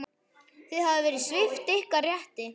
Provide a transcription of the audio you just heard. Þið hafið verið svipt ykkar rétti.